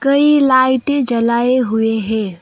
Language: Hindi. कई लाइटें जलाए हुए हैं।